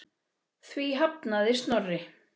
Því hafnaði Snorri.